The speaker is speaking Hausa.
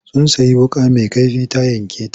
Sun sayi wuƙa mai kaifi ta yanke ta.